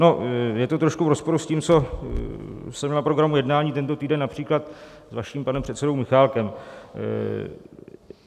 No, je to trošku v rozporu s tím, co jsem měl na programu jednání tento týden, například s vaším panem předsedou Michálkem.